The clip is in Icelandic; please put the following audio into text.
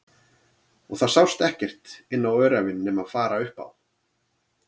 Og það sást ekkert inn á öræfin nema fara upp á